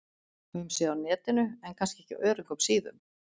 Höfum séð á Netinu- en kannski ekki á öruggum síðum.